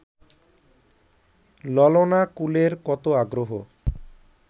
ললনাকুলের কত আগ্রহ